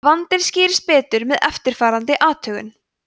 vandinn skýrist betur með eftirfarandi athugun